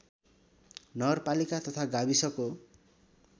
नगरपालिका तथा गाविसको